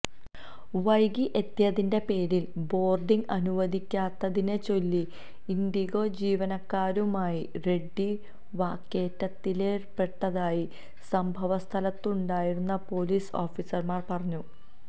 വൈകി എത്തിയതിന്റെ പേരിൽ ബോർഡിംഗ് അനുവദിക്കാത്തതിനെ ചൊല്ലി ഇൻഡിഗോ ജീവനക്കാരനുമായി റെഡ്ഡി വാക്കേറ്റത്തിലേർപ്പെട്ടതായി സംഭവ സ്ഥലത്തുണ്ടായിരുന്ന പോലീസ് ഓഫീസർമാർ പറഞ്ഞു